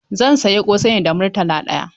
Zan sayi ƙosai ne da Murtala ɗaya.